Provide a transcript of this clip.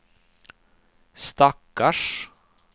stackars